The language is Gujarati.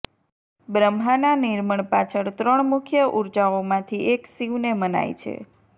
બ્રહ્માંના નિર્મણ પાછળ ત્રણ મુખ્ય ઉર્જાઓમાંથી એક શિવને મનાય છે